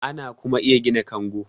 ana kuma iya gina kango